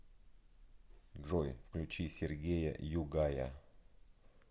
джой включи сергея югая